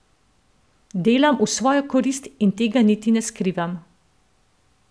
Delam v svojo korist in tega niti ne skrivam.